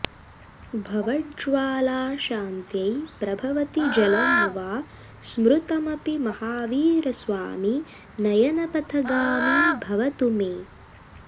भवज्ज्वालाशान्त्यै प्रभवति जलं वा स्मृतमपि महावीरस्वामी नयनपथगामी भवतु मे